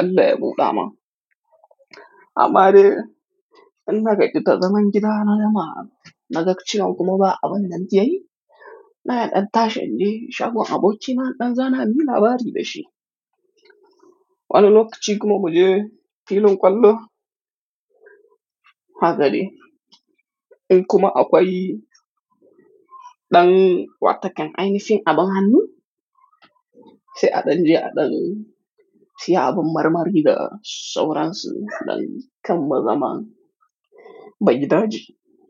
Allah ya buɗa ma. Amma dai, in na gajinta zaman gida na da ma'ana, na gajicewa kuma ba abin da ake yi. Na yaɗa tashe an je, shago abokina ɗan zana mun labari da shi. Wani lokaci kuma mu je filin kwallo. Haka ne. In kuma aka yi ɗan wata kan, ai nafi abin hannun, sai adan je adan siya abin marmari da sauransu, ɗan kammala zaman. Ba gidaji.